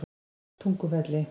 Tungufelli